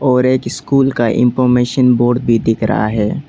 और एक स्कूल का इनफार्मेशन बोर्ड भी दिख रहा है।